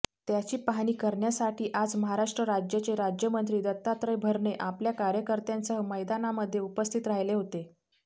त्याची पाहणी करण्यासाठी आज महाराष्ट्र राज्याचे राज्यमंत्री दत्तात्रय भरणे आपल्या कार्यकर्त्यांसह मैदानामध्ये उपस्थित राहिले होते